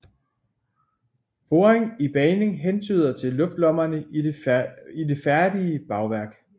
Poring i bagning hentyder til luftlommerne i det færdige bagværk